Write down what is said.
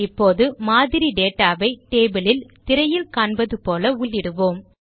இப்போது மாதிரி டேட்டா வை டேபிள் யில் திரையில் காண்பது போல உள்ளிடுவோம்